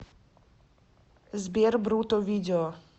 сбер брутто видео